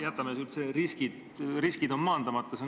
Samas on ilmne, et riskid on maandamata.